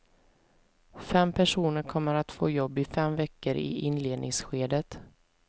Fem personer kommer att få jobb i fem veckor i inledningsskedet.